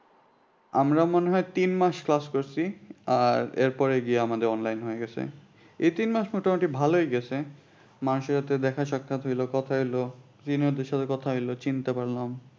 আমরা মনে হয় তিন মাস class করছি আর এরপরে গিয়ে আমাদের online হয়ে গেছে এই তিন মাস মোটামুটি ভালই গেছে সাথে দেখা হইল কথা হইলো senior দের সাথে কথা হলো চিনতে পারলাম